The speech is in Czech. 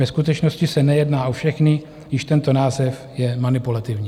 Ve skutečnosti se nejedná o všechny, již tento název je manipulativní.